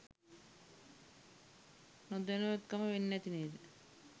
නොදැනුවත්කම වෙන්නැති නේද?